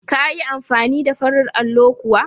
Ka yi amfani da farin allo kuwa?